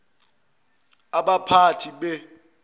abaphathi be ik